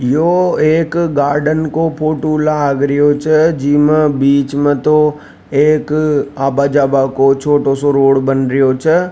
यो एक गार्डन का फोटो लाग रियो छ जी मै बीच में तो आवा जावा का छोटा सा रोड बन रियो छे।